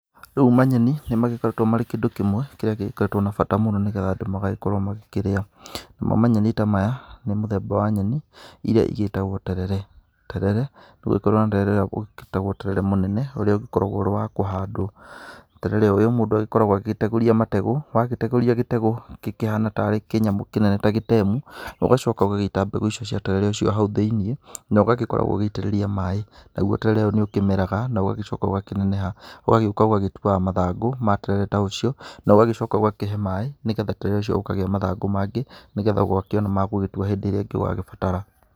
Rĩu manyeni nĩmagĩkoretwo marĩ kĩndũ kĩmwe kĩrĩa gĩkoretwo na bata mũno nĩgetha andũ magagĩkorwo makĩrĩa, namo manyeni ta maya, nĩ mũthemba wa nyeni iria igĩtagwo terere, terere ũngĩkorwo na terere ũngĩ wĩtagwo terere mũnene ũrĩ ũkoragwo ũrĩ wa kũhandwo, terere ũyũ mũndũ akoragwo agĩtegũria mategũ wagĩtegũria gĩtegũ, gĩkĩhana tarĩ kĩnyamũ kĩnene ta gĩtemu, ũgacoka ũgagĩita mbegũ cia terere ũcio hau thĩ-inĩ nogagĩkorwo ũgĩgitĩrĩria maĩ, naguo terere ũyũ nĩũkĩmeraga na ũgagĩcoka ũgakĩneneha ũgagĩũka ũgagĩtuaga mathangũ ma terere ta ũcio, na ũgagĩcoka ũgakĩhe maĩ nĩgetha terere ũcio ũkagĩa mathangũ mangĩ, nĩgetha ũgakĩona magũgĩtua hĩndĩ ĩrĩa ĩngĩ ũgagĩbatara.